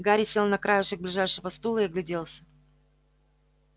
гарри сел на краешек ближайшего стула и огляделся